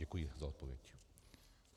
Děkuji za odpověď.